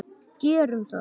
Gerum það!